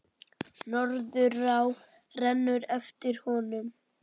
Norðurá rennur eftir honum.